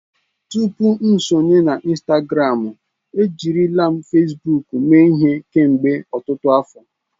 Tupu m sonye na Instagramụ, ejirila m Fesbuuk mee ihe kemgbe ọtụtụ afọ.